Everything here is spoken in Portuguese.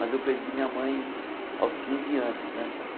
Mas eu perdi minha mãe aos quinze anos né.